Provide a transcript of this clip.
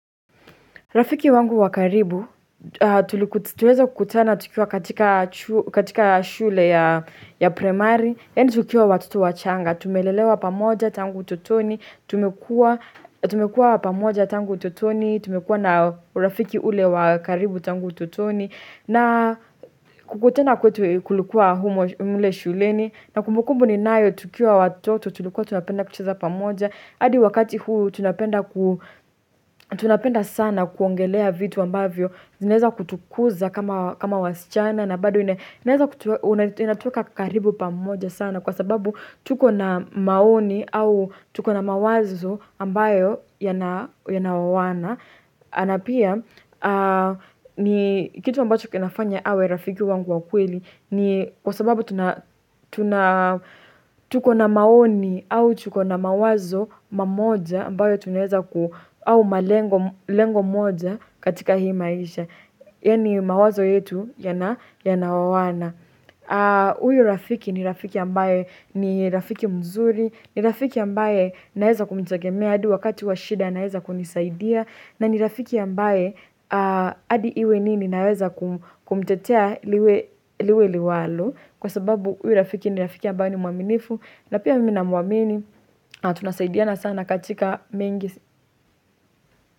Rafiki wangu wa karibu, tuliweza kutana tukiwa katika shule ya primary Yani tukiwa watoto wachanga. Tumelelewa pamoja tangu utotoni. Tumekua na urafiki ule wakaribu tangu utotoni. Na kukutana kwetu kulikua humo mle shuleni. Na kumbukumbu ninayo tukiwa watoto tulukuwa tunapenda kucheza pamoja. Adi wakati huu hu tunapenda tunapenda sana kuongelea vitu ambavyo zinaeza kutukuza kama wasichana na bado unatweka karibu pamoja sana Kwa sababu tuko na maoni au tuko na mawazo ambayo yanaowana Anapia ni kitu ambacho kinafanya awe rafiki wangu wa kweli ni kwa sababu tuna tuko na maoni au tuko na mawazo mamoja ambayo tuneza ku au malengo moja katika hii maisha. Yani mawazo yetu yanaowana. Uyu rafiki ni rafiki ambaye ni rafiki mzuri, ni rafiki ambaye naeza kumtegemea adi wakati wa shida anaeza kunisaidia. Na ni rafiki ambaye adi iwe nini naweza kumtetea liwe liwalo kwa sababu huyu rafiki ni rafiki ambaye ni muaminifu na pia mimi namuamini na tunasaidiana sana katika mengi.